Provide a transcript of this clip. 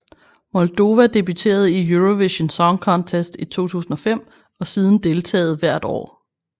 Moldova debuterede i Eurovision Song Contest i 2005 og siden deltaget hvert år